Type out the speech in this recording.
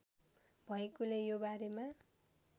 भएकोले यो बारेमा